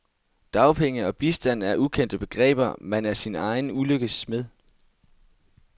Dagpenge og bistand er ukendte begreber, man er sin egen ulykkes smed.